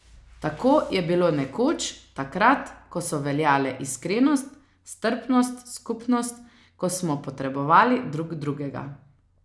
Tako je bilo nekoč, takrat, ko so veljale iskrenost, strpnost, skupnost, ko smo potrebovali drug drugega.